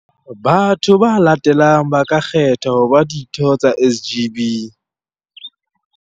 Batho ba latelang ba ka kgethwa ho ba ditho tsa SGB.